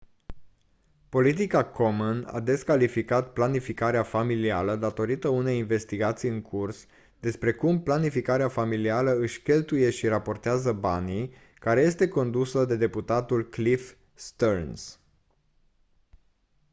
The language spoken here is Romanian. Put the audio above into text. politica komen a descalificat planificarea familială datorită unei investigații în curs despre cum planificarea familială își cheltuie și raportează banii care este condusă de deputatul cliff stearns